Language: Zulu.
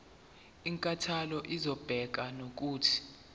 inkantolo izobeka nokuthi